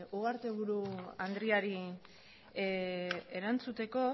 ugarteburu andreari erantzuteko